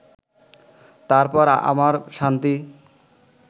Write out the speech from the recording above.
তারপর আমার শান্তি